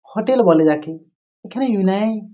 Hotel বলে যাকে এখানে ।